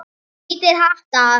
Hvítir hattar.